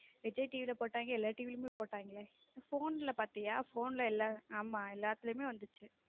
Vijay TV ல போட்டாங்க எல்லா TV லயும் போட்டாங்களே phone ல பாத்தியா phone ல எல்லாத்தையும் ஆமா எல்லாத்துலயுமே வந்துச்சு.